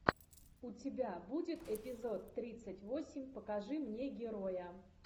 у тебя будет эпизод тридцать восемь покажи мне героя